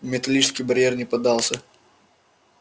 металлический барьер не поддался